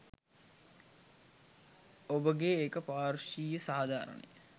ඔබගේ ඒක පාර්ශ්වීය සාධාරණය